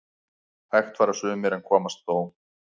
Hægt fara sumir en komast þó